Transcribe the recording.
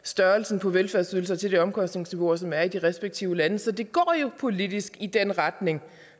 størrelsen på velfærdsydelser til de omkostningsniveauer som er i de respektive lande så det går jo politisk i den retning